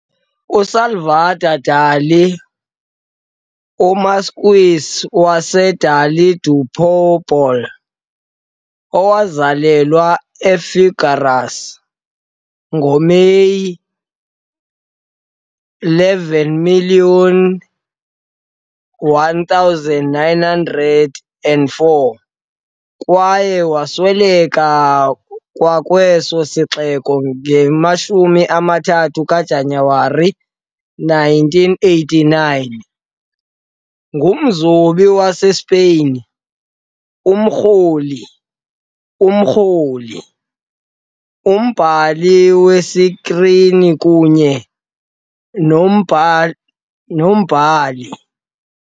USalvador Dalí, uMarquis waseDalí de Púbol, owazalelwa eFigueras ngoMeyi 11, 1904, kwaye wasweleka kwakweso sixeko nge-23 kaJanuwari 1989, ngumzobi waseSpain, umkroli, umkroli, umbhali wesikrini kunye nombhali nombhali.